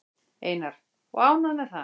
Einar: Og ánægð með það?